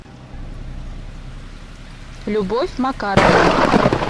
любовь макаровна